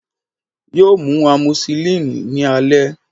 Yoo mu amoxicillin ni alẹ